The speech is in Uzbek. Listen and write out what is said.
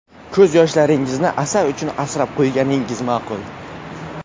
Ko‘z yoshlaringizni asar uchun asrab qo‘yganingiz maqul.